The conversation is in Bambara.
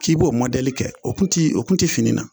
K'i b'o kɛ o tun tɛ o tun tɛ fini na